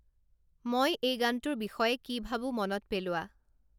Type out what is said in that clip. মই এই গানটোৰ বিষয়ে কি ভাবোঁ মনত পেলোৱা